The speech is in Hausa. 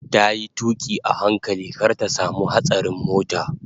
Tayi tuƙi a hankali kar ta samu hatsarin mota